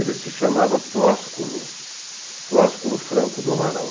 Ele se chamava Flósculo, Flósculo Franco do Amaral.